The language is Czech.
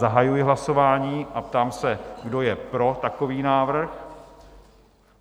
Zahajuji hlasování a ptám se, kdo je pro takový návrh?